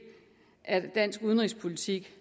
af dansk udenrigspolitik